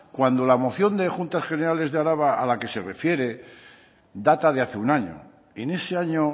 cuando la moción de las juntas generales de araba a la que se refiere data de hace un año en ese año